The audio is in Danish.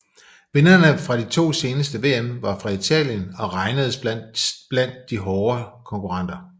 Vinderne fra de to seneste VM var fra Italien og regnedes blandt de hårde konkurrenter